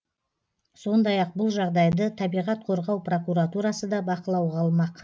сондай ақ бұл жағдайды табиғат қорғау прокуратурасы да бақылауға алмақ